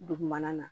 Dugumana na